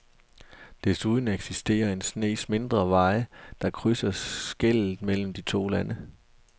Desuden eksisterer en snes mindre veje, der krydser skellet mellem de to lande.